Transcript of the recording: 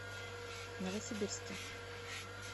новосибирске